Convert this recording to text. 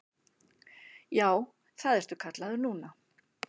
Já, það ertu kallaður núna.